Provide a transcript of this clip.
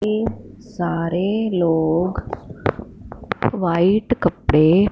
ये सारे लोग व्हाइट कपड़े--